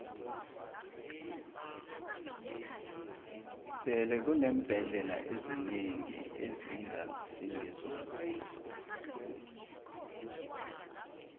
sele kuneembhendlela ezinengi ezingasi ngezombuso